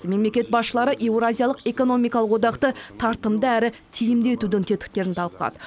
мемлекет басшылары еуразиялық экономикалық одақты тартымды әрі тиімді етудің тетіктерін талқылады